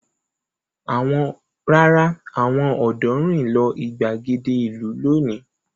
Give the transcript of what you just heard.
Rárá, àwọn ọ̀dọ́ rìn lọ ìgbàgede ìlú lónìí.